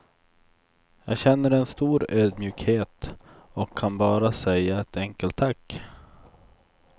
Jag känner en stor ödmjukhet och kan bara säga ett enkelt tack.